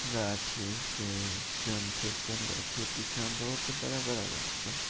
गाछी के पीछा मे बहुत बड़ा-बड़ा --